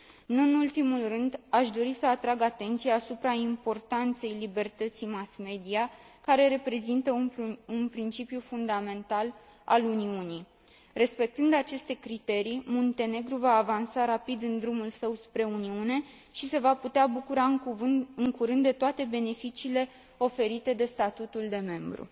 Nu în ultimul rând, aș dori să atrag atenția asupra importanței libertății mass media, care reprezintă un principiu fundamental al Uniunii Europene. Respectând aceste criterii, Muntenegru va avansa rapid în drumul său spre Uniunea Europeană și se va putea bucura în curând de toate beneficiile oferite de statutul de membru.